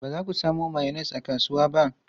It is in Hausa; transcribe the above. Ba za ku samo mayonnaise a kasuwa ba?